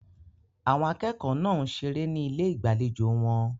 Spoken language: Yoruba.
Àwọn akẹ́kọ̀ọ́ náà ń ṣeré ní ilé ìgbàlejò wọn.